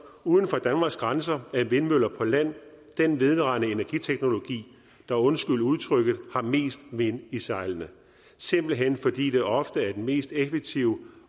uden for danmarks grænser er vindmøller på land den vedvarende energiteknologi der undskyld udtrykket har mest vind i sejlene simpelt hen fordi det ofte er den mest effektive